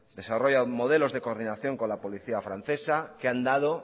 desarrolla modelos de coordinación con la policía francesa que han dado